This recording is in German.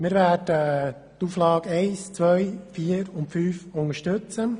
Wir werden die Auflagen 1, 2, 4 und 5 unterstützen.